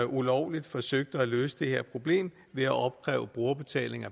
ulovligt forsøgte at løse det her problem ved at opkræve brugerbetaling